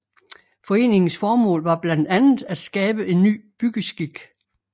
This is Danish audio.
Foreningens formål var blandt andet at skabe en ny byggeskik